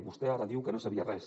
vostè ara diu que no en sabia res